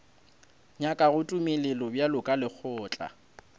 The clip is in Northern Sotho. nyakago tumelelo bjalo ka lekgotla